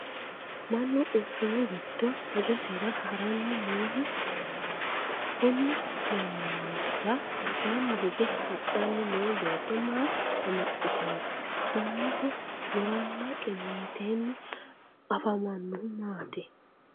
Mannu quchumu gido hajosira haranni noohu leellano konni mannira albaanni hige hadhanni noo beetto maa amaxite no? Mannaho guranna qiniiteenni afamanohu maati?